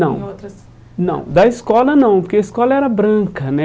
Não, não da escola não, porque a escola era branca, né?